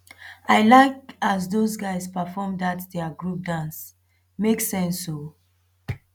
i like as dose guys perform dat their group dance make sense o